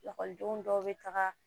Ekɔlidenw dɔw bɛ taga